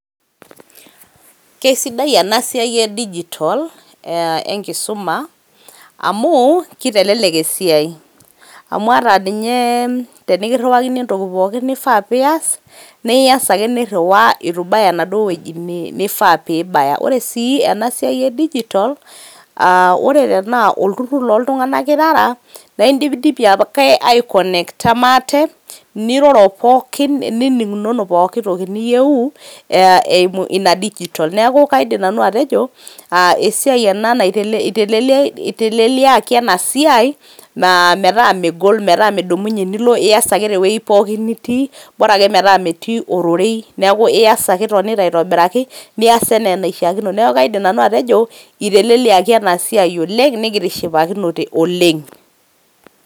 Kesidai ena siai e digital enkisuma amu kitelelek esiai . amu ata ninye tenikiriwakini entoki pooki nifaa piyas naa iyas ake niriwaa itu ibaya enaduo wueji nifaa pibaya. ore sii ena siai e digital aa ore tenaa olturur loo ntunganak irara naa indipidipi ake aekonecta maate ,niroro pookin ,niningunono pooki toki niyieu eimu ina digital. niaku kaidim nanu atejo esiai ena itelelekia ,itelelekiaki ena siai metaa megol, metaa midumunye nilo, ias ake te wuei pookin nitii ,bora ake metaa metii ororei niaku ias ake itonita aitobiraki.